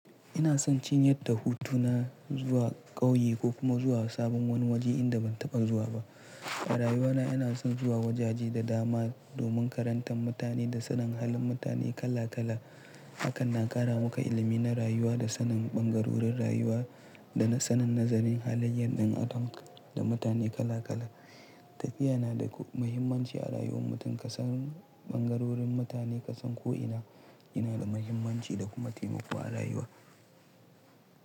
Ina son cinyadda hutu na zuwa ƙauye ko kuma zuwa sabon wani waje inda ban taɓa zuwa ba. A rayuwa na ina son zuwa wajaje da dama domin karanta mutane da sanin halin mutane kala kala. Hakan na ƙara muka ilimi na rayuwa da sanin ɓangarorin rayuwa da sanin nazarin halayyar ɗan adam da mutane kala kala. Tafiya na da muhimmanci a rayuwar mutum kasan ɓangarorin mutane kasan ko ina yana da muhimmanci da kuma taimako a rayuwa.